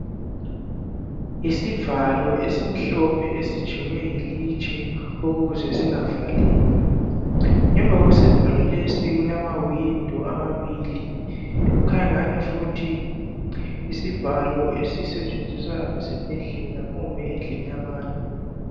Yisivalo esimhlophe esijekwe yilitshe ukuze singavaleki. Ngemva kwesivalo lesi kulamawindo amabili. Kukhanya angani futhi yisivalo esisetshenziswa esibhedlela kumbe endlini yabantu.